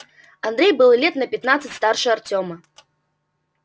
андрей был лет на пятнадцать старше артёма